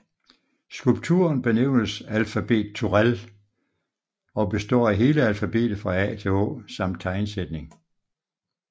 Skulpturen benævnes Alfabet Turèll og består af hele alfabetet fra A til Å samt tegnsætning